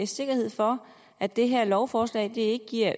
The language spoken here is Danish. sikkerhed for at det her lovforslag ikke giver